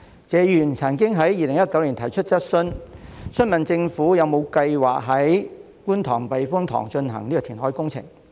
謝議員曾經在2019年提出質詢時，詢問政府有否計劃在觀塘避風塘進行填海工程。